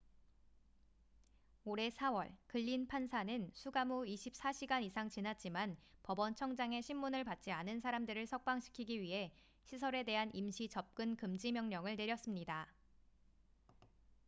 올해 4월 글린 판사는 수감 후 24시간 이상 지났지만 법원 청장의 심문을 받지 않은 사람들을 석방시키기 위해 시설에 대한 임시 접근 금지 명령을 내렸습니다